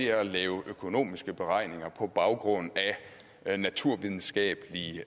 er at lave økonomiske beregninger på baggrund af naturvidenskabelige